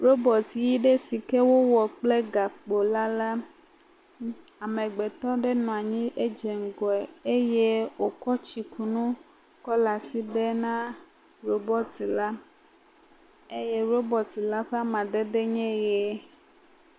Robɔt ɣi ɖe siwo wɔ kply gakpo la. Amegbetɔ ɖe nɔ anyi hedze ŋgɔe eye wokɔ tsikunu kɔ le asi ɖem na robɔt la eye robɔt la ƒe ame dede nye ɣie.